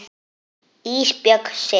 Ísbjörg sitt.